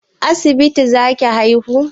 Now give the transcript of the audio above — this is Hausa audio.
A asibiti za ki haihu?